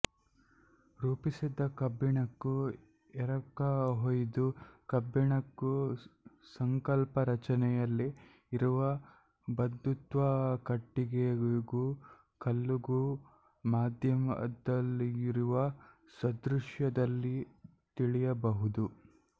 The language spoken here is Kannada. ರೂಪಿಸಿದ ಕಬ್ಬಿಣಕ್ಕೂ ಎರಕಹೊಯ್ದ ಕಬ್ಬಿಣಕ್ಕೂ ಸಂಕಲ್ಪ ರಚನೆಯಲ್ಲಿ ಇರುವ ಬಂಧುತ್ವ ಕಟ್ಟಿಗೆಗೂ ಕಲ್ಲುಗೂ ಮಾಧ್ಯದಲ್ಲಿರುವ ಸದೃಶದದಲ್ಲಿ ತಿಳಿಯಬಹುದು